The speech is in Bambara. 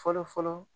Fɔlɔ fɔlɔ